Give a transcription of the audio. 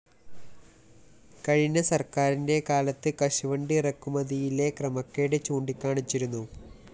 കഴിഞ്ഞ സര്‍ക്കാരിന്റെ കാലത്ത് കശുവണ്ടി ഇറക്കുമതിയിലെ ക്രമക്കേട് ചൂണ്ടിക്കാണിച്ചിരുന്നു